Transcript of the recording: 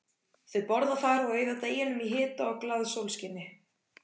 Þau borða þar og eyða deginum í hita og glaðasólskini.